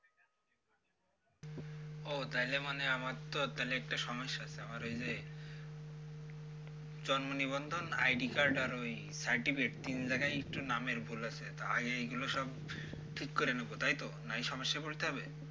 ও তাইলে মানে আমার তো তালে একটা সমস্যা আছে ওই যে জন্ম নিবন্ধন id card আর ওই certificate তিন জায়গায় একটু নামের ভুল আছে তা আগে এগুলো সব ঠিক করে নেব তাই তো? না হলে সমস্যায় পড়তে হবে